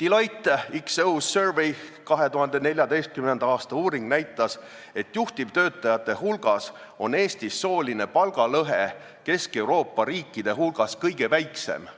Deloitte XO Survey 2014. aasta uuring näitas, et Eestis on juhtivtöötajate hulgas sooline palgalõhe Kesk-Euroopa riikidest kõige väiksem